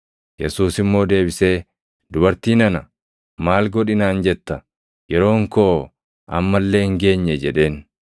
Yesuus immoo deebisee, “Dubartii nana! Maal godhi naan jetta? Yeroon koo amma illee hin geenye” jedheen.